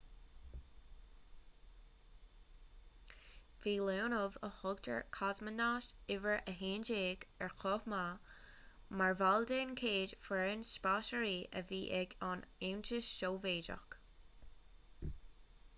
bhí leonov a thugtar cosmonaut no 11 ar chomh maith mar bhall den chéad fhoireann spásairí a bhí ag an aontas sóivéadach